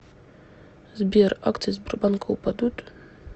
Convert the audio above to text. сбер акции сбербанка упадут